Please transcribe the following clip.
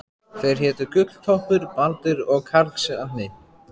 Þeir hétu Gulltoppur, Baldur og Karlsefni.